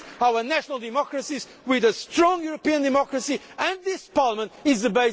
That is why we need to complete our national democracies with a strong European democracy.